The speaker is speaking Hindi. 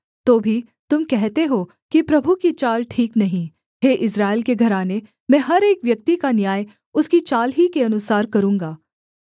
तो भी तुम कहते हो कि प्रभु की चाल ठीक नहीं हे इस्राएल के घराने मैं हर एक व्यक्ति का न्याय उसकी चाल ही के अनुसार करूँगा